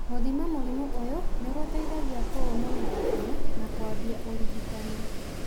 Gũthima mũrimũ ũyũ nĩ gũteithagia kũũmenya gatene na kũambia ũrigitani.